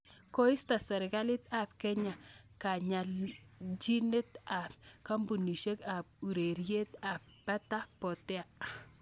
Koisto serkalit ab Kenya kayanjinet ab kampunisiek ab ureriet ab pata potea.